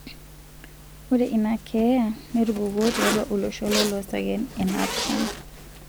Ore ina keyaa netupukuo tiatua olosho lolosaen e napishana.